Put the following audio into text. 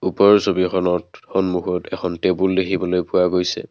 ওপৰৰ ছবিখনত সন্মুখত এখন টেবুল দেখিবলৈ পোৱা গৈছে।